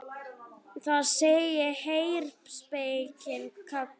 Þar segir: Heyr, spekin kallar.